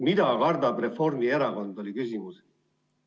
Mida kardab Reformierakond, oli küsimus.